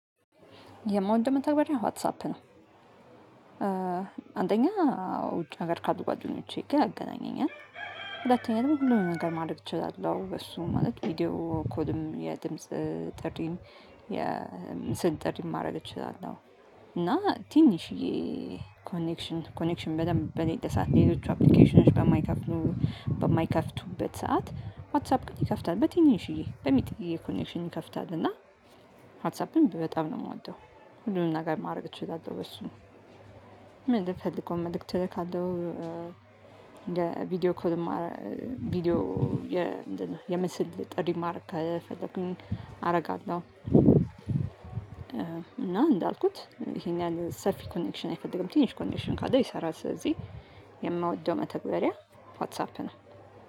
የምወደው መታገሪያ ዋትሳፕ ነው። አንደኛ ውጭ ሀገር ካሉ ጓደኞቼ ጋ ያገናኜኛል ሁለተኛ ደግሞ ሁሉንም ነገር ማድረግ እችላለሁ። በሱ ማለት ቪዲዮ ኮድም የድምጽ ጥሪም የምስል ጥሪም ማድረግ እችላለሁ። እና ትንሽዬ ኮኔክሽን ኮኔክሽን በደንብ በሌለ ሠዓት ሌሎቹ አፕሊኬሽኖች በማይከፍቱ በማይከፍቱበት ሰዓት ዋትሳአፕ ቅን ይከፍታል በትንሽዬ ጥንጥየ ኮኔክሽን ይከፍታል እና ዋትሳፕን በጣም ነው ምወደው። ሁሉንም ነገር ማደርግ እችላለሁ በሱ ምፈልገው መልእክት እልካለሁ። ቪዲዮ ኮልም አደርጋለሁ ቪዲዮ የ ምንድን ነው የምስል ጥሪ ማድረግ ከፈለኩኝ አደርጋለሁ። እና እንዳልኩት ይሄን ያህል ሰፊ ኮኔክሽን አይፈልግም ትንሽ ኮኔክሽን ካለው ይሰራል። ሥለዚህ የምወደው መተግበሪያ ዋትሳፕ ነው